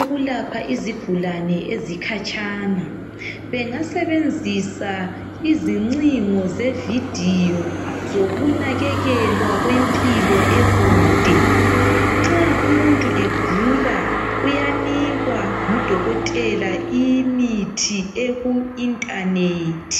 ukulapha izigulane ezikhatshana. Bengasebenzisa izincingo zevidiyo zokunakekelwa kwempilo ekude. Nxa umuntu egula uyanikwa ngudokotela imithi eku internet